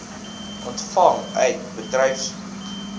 ontvang uit bedryfshuur